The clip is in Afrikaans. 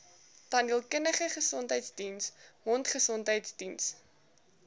tandheelkundige gesondheidsdiens mondgesondheidsdiens